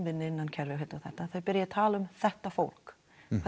innan kerfis hérna þau byrja að tala um þetta fólk